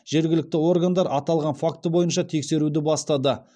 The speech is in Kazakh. жергілікті органдар аталған факті бойынша тексеруді бастады